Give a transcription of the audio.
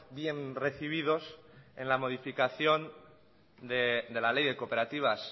bien recibidos en la modificación de la ley de cooperativas